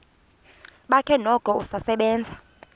bakhe noko usasebenza